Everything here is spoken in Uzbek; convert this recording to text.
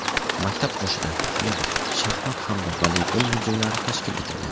Maktab qoshida, shuningdek, shaxmat hamda voleybol muzeylari tashkil etilgan.